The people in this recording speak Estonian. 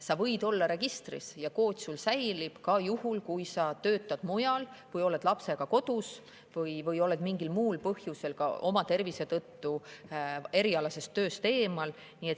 Sa võid olla registris ja see kood säilib sul seal ka juhul, kui sa töötad mujal või oled lapsega kodus või oled mingil muul põhjusel, näiteks tervise tõttu, erialasest tööst eemal.